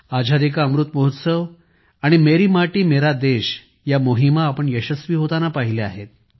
आझादी का अमृत महोत्सव आणि मेरी माटी मेरा देश या मोहिमा आपण यशस्वी होताना पाहिल्या आहेत